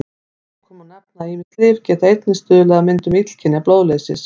Að lokum má nefna að ýmis lyf geta einnig stuðlað að myndun illkynja blóðleysis.